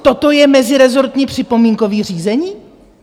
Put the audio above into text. Toto je mezirezortní připomínkové řízení?